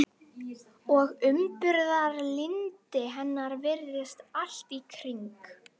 Og umburðarlyndi hennar virðist allt í kring.